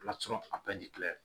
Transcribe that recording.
a bɛɛ de